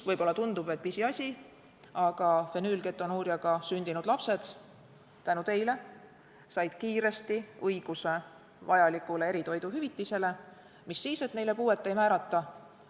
Võib-olla tundub, et pisiasi, aga fenüülketonuuriaga sündinud lapsed said tänu teile kiiresti õiguse saada vajalikku eritoiduhüvitist, mis siis, et neile puuet ei määrata.